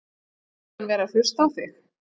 Finnst þér hann vera að hlusta á þig?